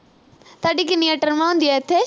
ਤੁਹਾਡੀ ਕਿੰਨੀਆਂ ਟਰਮਾਂ ਹੁੰਦੀਆਂ ਇਥੇ